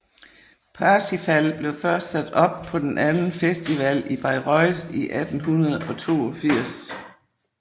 Parsifal blev først sat op på den anden festival i Bayreuth i 1882